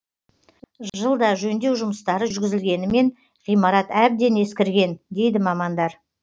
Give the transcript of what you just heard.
жылда жөндеу жұмыстары жүргізілгенімен ғимарат әбден ескірген дейді мамандар